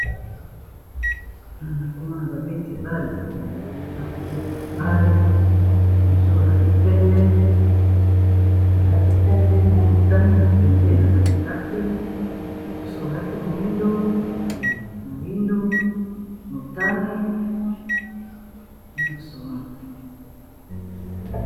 Awa nazokomona babeti ya ndembo ya makolo bazo kobeta footbol bamisusu balati pembe na motane na pembe na katikati soso balati moindu motanie nyonso wana